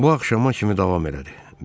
Bu axşama kimi davam elədi.